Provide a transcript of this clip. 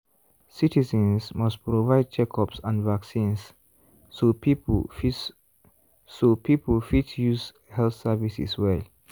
citizens must provide checkups and vaccines so people fit so people fit use health services well.